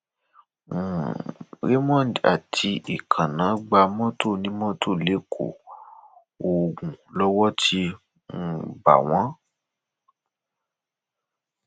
um raymond àti èkéná gba mọtò onímọtò lẹkọọ ogun lowó ti bá um wọn